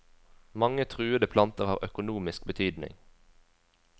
Mange truede planter har økonomisk betydning.